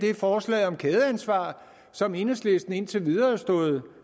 er forslaget om kædeansvar som enhedslisten indtil videre har stået